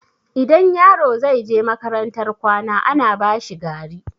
Idan yaro zai je makarantar kwana, ana bashi gari.